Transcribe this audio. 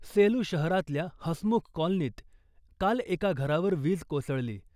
सेलू शहरातल्या हसमुख कॉलनीत काल एका घरावर वीज कोसळली .